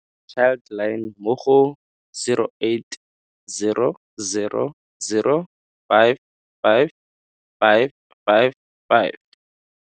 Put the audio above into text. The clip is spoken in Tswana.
Child line mo go 08000 55 555.